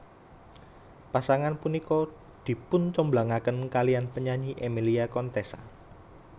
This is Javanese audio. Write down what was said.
Pasangan punika dipuncomblangaken kaliyan penyanyi Emilia Contessa